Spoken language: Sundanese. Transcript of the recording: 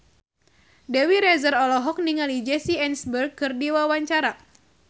Dewi Rezer olohok ningali Jesse Eisenberg keur diwawancara